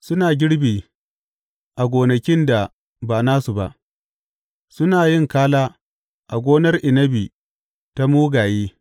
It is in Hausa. Suna girbi a gonakin da ba nasu ba, suna yin kala a gonar inabi ta mugaye.